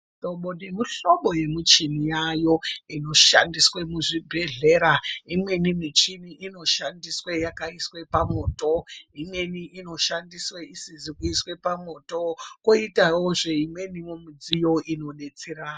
Mihlobo nemihlobo yemichini yayo inoshandiswe muzvibhedlera imweni michini inoshandiswe yakaiswe pamoto, imweni inoshandiswe isizi kuiswe pamoto, koitawo zve imweniyo midziyo inodetsera.